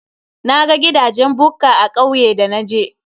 Naga gidajen bukka a kauye da naje.